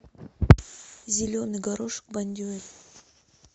зеленый горошек бондюэль